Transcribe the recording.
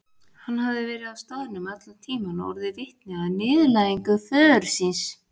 Hann hafði verið á staðnum allan tíman og orðið vitni að niðurlægingu föður síns.